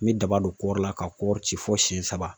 N bɛ daba don kɔɔri la ka kɔɔri ci fo siɲɛ saba